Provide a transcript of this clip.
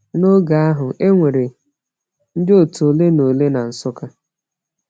N’oge ahụ, e nwere ndị otu ole na ole na Nsukka.